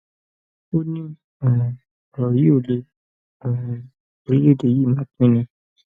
ó ní um ọrọ yìí ò lé um orílẹèdè yìí máa pín ni